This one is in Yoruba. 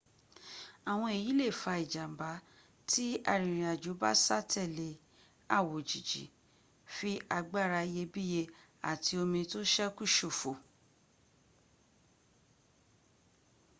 àwọn èyí lè fa ìjàmbá tí arìnrìnàjò bá sá tẹ̀lé àwòjíji fi agbára iyebíye àti omi tó ṣẹ́kù ṣòfò